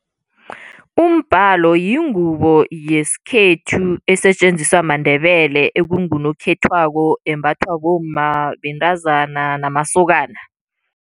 Umbhalo yingubo yesikhethu esetjenziswa maNdebele ekungunokhethweko, embathwa bomma, bentazana namasokana.